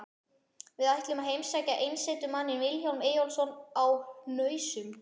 Við ætlum að heimsækja einsetumanninn Vilhjálm Eyjólfsson á Hnausum.